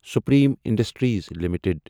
Supreme Industries limited